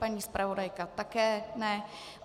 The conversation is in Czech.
Paní zpravodajka také ne.